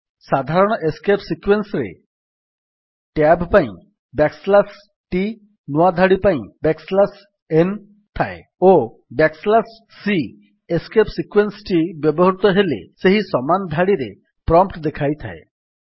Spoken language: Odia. ସାଧାରଣ ଏସ୍କେପ୍ ସିକ୍ୱେନ୍ସ୍ ରେ ଟ୍ୟାବ୍ ପାଇଁ t ବ୍ୟାକ୍ ସ୍ଲାସ୍ ଟି ନୂଆ ଧାଡି ପାଇଁ n ଥାଏ ଓ c ଏସ୍କେପ୍ ସିକ୍ୱେନ୍ସ୍ ଟି ବ୍ୟବହୃତ ହେଲେ ସେହି ସମାନ ଧାଡିରେ ପ୍ରମ୍ପ୍ଟ୍ ଦେଖାଇଥାଏ